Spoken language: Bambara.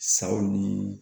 Sawo ni